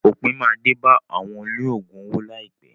Òpin máa dé bá àwọn olóògùn owó láìpẹ́.